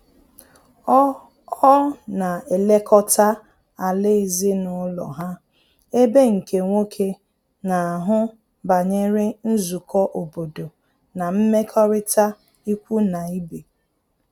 Ọ Ọ na elekọta ala ezinụlọ ha, ebe nke nwoke na-ahụ banyere nzukọ obodo na mmekọrịta ikwu na ibe